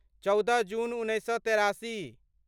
चौदह जून उन्नैस सए तेरासी